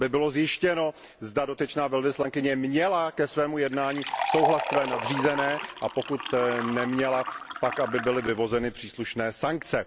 Aby bylo zjištěno, zda dotyčná velvyslankyně měla ke svému jednání souhlas své nadřízené, a pokud neměla, pak aby byly vyvozené příslušné sankce.